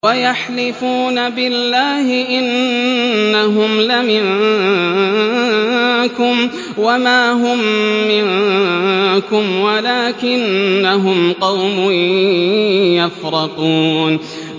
وَيَحْلِفُونَ بِاللَّهِ إِنَّهُمْ لَمِنكُمْ وَمَا هُم مِّنكُمْ وَلَٰكِنَّهُمْ قَوْمٌ يَفْرَقُونَ